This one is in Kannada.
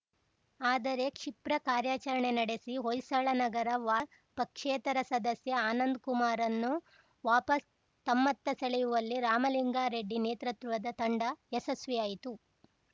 ಆದರೆ ಕ್ಷಿಪ್ರ ಕಾರ್ಯಾಚರಣೆ ನಡೆಸಿ ಹೊಯ್ಸಳನಗರ ವಾರ್ಡ್‌ ಪಕ್ಷೇತರ ಸದಸ್ಯ ಆನಂದ್‌ಕುಮಾರ್‌ರನ್ನು ವಾಪಸು ತಮ್ಮತ್ತ ಸೆಳೆಯುವಲ್ಲಿ ರಾಮಲಿಂಗಾರೆಡ್ಡಿ ನೇತೃತ್ವದ ತಂಡ ಯಶಸ್ವಿಯಾಯಿತು